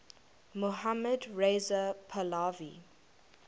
mohammad reza pahlavi